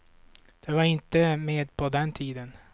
De var inte med på den tiden.